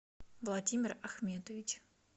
владимир ахметович